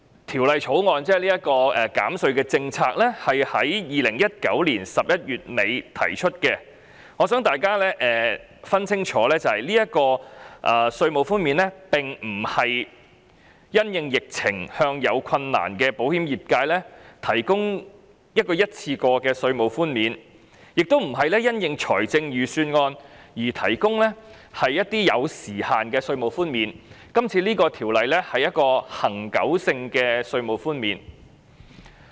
"《條例草案》涉及的減稅政策在2019年11月底提出，我希望大家明白，這項稅務寬免並非因應疫情而向有困難的保險業界提供一項一次過的稅務寬免，亦非因應財政預算案而提供一些具時限的稅務寬免，而是一項恆久性的稅務寬免。